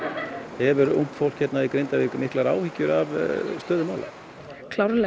hefur ungt fólk hérna í Grindavík miklar áhyggjur af stöðu mála klárlega